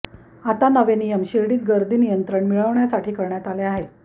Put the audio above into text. आता नवे नियम शिर्डीत गर्दीवर नियंत्रण मिळवण्यासाठी करण्यात आले आहेत